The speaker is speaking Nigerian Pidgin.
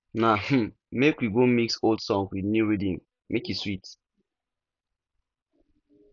na um make we go mix old song with new rhythm make e sweet